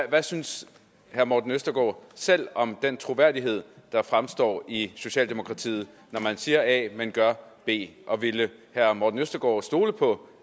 hvad synes herre morten østergaard selv om den troværdighed der fremstår i socialdemokratiet når man siger a men gør b og ville herre morten østergaard stole på